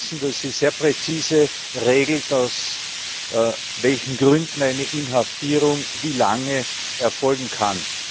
Wir wissen, dass sie sehr präzise regelt, aus welchen Gründen eine Inhaftierung wie lange erfolgen kann.